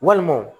Walima